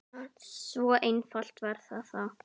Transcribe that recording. Svo einfalt var það þá.